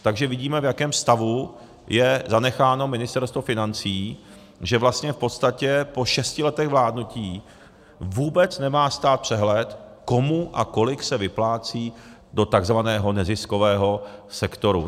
Takže vidíme, v jakém stavu je zanecháno Ministerstvo financí, že vlastně v podstatě po šesti letech vládnutí vůbec nemá stát přehled, komu a kolik se vyplácí do takzvaného neziskového sektoru.